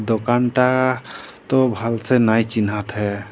दोकान टा तो भाल से नाइ चिन्हात हे।